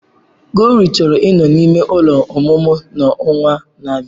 Glory chọrọ ịnọ n'ime ụlọ ọmụmụ n'ọnwa na-abịa.